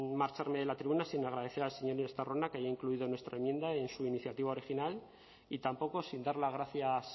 marcharme de la tribuna sin agradecer al señor estarrona que haya incluido nuestra enmienda en su iniciativa original y tampoco sin dar las gracias